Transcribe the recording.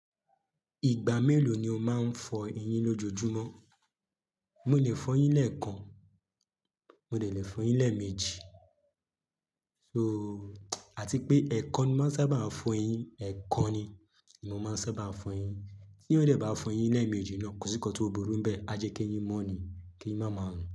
Ìgbà mélòó ni o máa ń fọ eyín lójojúmọ́? N o lè fọ eyín lẹ́ẹ̀kan, mo lè lè fọ eyín lẹ́ẹ̀mejì so àti pé ẹ̀ẹ̀kan ni mo sábà fọ eyín, ẹ̀ẹ̀kan ni mo máa ń sábà fọ eyín. Tí ó dẹ̀ bá fọ eyín lẹ́ẹ̀mejì náà kọ síkọ tó burú bẹ́ẹ̀, a jẹ́ kí eyín mọ́ ni kí ẹ má máà lu.